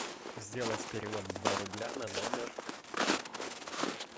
сделать перевод два рубля на номер